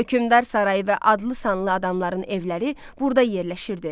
Hökümdar sarayı və adlı sanlı adamların evləri burda yerləşirdi.